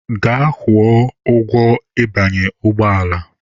Gaa kwụọ ụgwọ ịbanye ụgbọ ala!